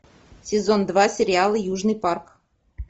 сезон два сериала южный парк